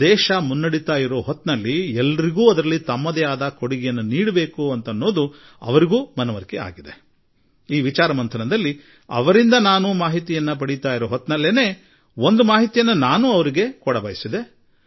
ದೇಶ ಮುನ್ನಡೆಯುತ್ತಿರುವಾಗ ನಾವೆಲ್ಲರೂ ಕೊಡುಗೆ ನೀಡಬೇಕು ಎಂದು ಅವರಿಗೂ ಅನಿಸುತ್ತಿದ್ದುದನ್ನು ನಾನು ಗಮನಿಸಿದೆ ಹಾಗೂ ಈ ಜ್ಞಾನ ಸಂಗಮದಲ್ಲಿ ನಾನು ಪಡೆದುಕೊಳ್ಳುತ್ತಿದ್ದ ಮಾಹಿತಿಯಲ್ಲಿ ಒಂದು ಮಾಹಿತಿಯನ್ನು ನಿಮಗೂ ತಿಳಿಸಬಯಸುವೆ